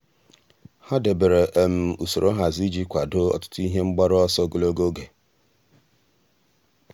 há dèbèrè um usoro nhazi iji kwàdòọ́ ọtụ́tụ́ ihe mgbaru ọsọ ogologo oge.